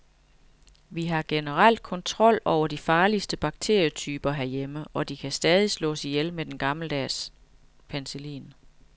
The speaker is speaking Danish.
Vi har generelt kontrol over de farligste bakterietyper herhjemme, og de kan stadig slås ihjel med den gammeldags og penicillin.